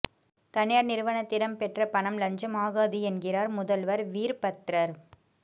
தனியார் நிறுவனத்திடம் பெற்ற பணம் லஞ்சம் ஆகாது என்கிறார் முதல்வர் வீர்பத்ரர்